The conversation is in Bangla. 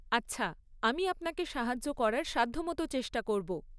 আচ্ছা, আমি আপনাকে সাহায্য করার সাধ্যমতো চেষ্টা করব।